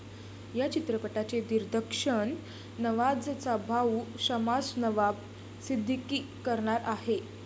या चित्रपटाचे दिग्दर्शन नवाझचा भाऊ शमास नवाब सिद्दीकी करणार आहे.